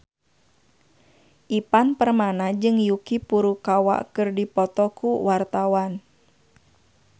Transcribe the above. Ivan Permana jeung Yuki Furukawa keur dipoto ku wartawan